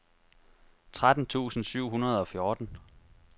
tretten tusind syv hundrede og fjorten